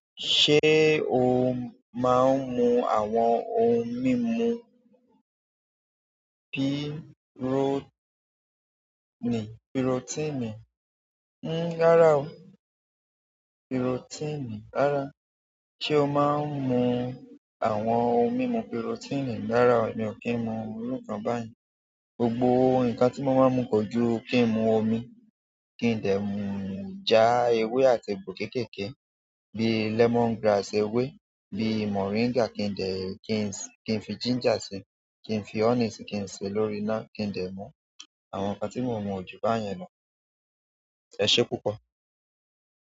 Ṣé o máa ń mú àwọn ohun mímu piro, pirotíìnì? Rára o, pirotíìnì, rárá. Ṣé o máa ń mú àwọn ohun mímu pirotíìnì? Rárá, mi ò kí ń mú irú nkàn báyen. Gbogbo ǹkan tí mo ń máa ń mú kojú kí n mu omi, kí n dé já ewé àti egbò kékèké, bí lemon grass ewé, bí moringa kí n dé, kí n fi ginger sí kí n fi honey sí kí n ṣe lórí ina kí n dé mú. Àwọn nǹkan tí mo mu ó júbà yẹn lọ. Éṣé púpọ̀.